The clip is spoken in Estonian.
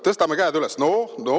Tõstame käed üles!